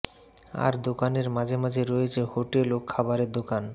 আর দোকানের মাঝে মাঝে রয়েছে হোটেল ও খাবারের দোকান